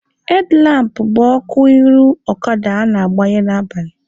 Hedlampụ bụ ọkụ iru ọkada a na-agbanye n'abalị.